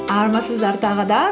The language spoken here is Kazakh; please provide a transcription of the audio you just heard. армысыздар тағы да